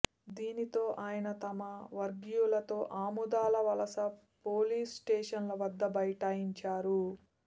దీనితో ఆయన తన వర్గీయులతో ఆముదాల వలస పోలీసు స్టేషన్ వద్ద బైటాయించారు